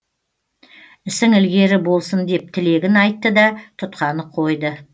ісің ілгері болсын деп тілегін айттыда тұтқаны қойды